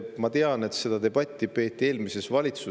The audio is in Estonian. Ma tean, et seda debatti peeti eelmises valitsuses.